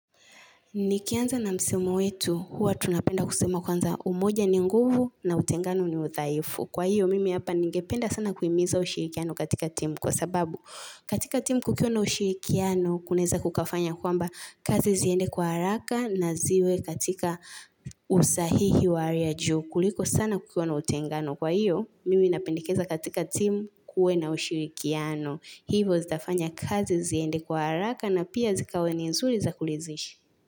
Nikianza na msemo wetu, huwa tunapenda kusema kwanza umoja ni nguvu na utengano ni udhaifu. Kwa hiyo, mimi hapa ningependa sana kuhimiza ushirikiano katika timu. Kwa sababu, katika timu kukiwa na ushirikiano, kunaeza kukafanya kwamba kazi ziende kwa haraka na ziwe katika usahihi wa hali ya juu. Kuliko sana kukiwa na utengano. Kwa hiyo, mimi napendekeza katika timu kuwe na ushirikiano. Hivo zitafanya kazi ziende kwa haraka na pia zikawe ni nzuri zakulizishi.